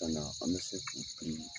Ka na an be se k'i pini